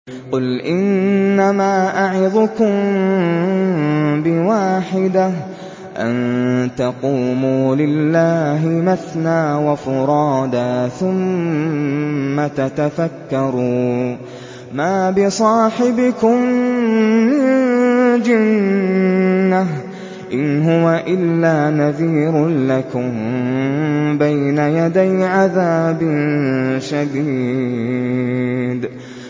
۞ قُلْ إِنَّمَا أَعِظُكُم بِوَاحِدَةٍ ۖ أَن تَقُومُوا لِلَّهِ مَثْنَىٰ وَفُرَادَىٰ ثُمَّ تَتَفَكَّرُوا ۚ مَا بِصَاحِبِكُم مِّن جِنَّةٍ ۚ إِنْ هُوَ إِلَّا نَذِيرٌ لَّكُم بَيْنَ يَدَيْ عَذَابٍ شَدِيدٍ